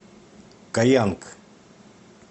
каянг